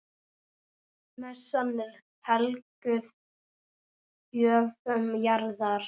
Messan er helguð gjöfum jarðar.